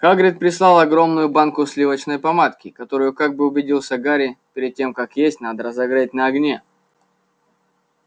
хагрид прислал огромную банку сливочной помадки которую как убедился гарри перед тем как есть надо разогреть на огне